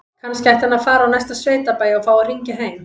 Kannski ætti hann að fara á næsta sveitabæ og fá að hringja heim?